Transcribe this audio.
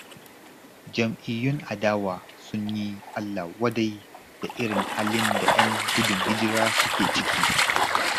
Jam'iyyun adawa sun yi allah-wadai da irin halin da 'yan gudun hijira suke ciki.